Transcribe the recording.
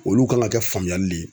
Olu kan ka kɛ faamuyali le ye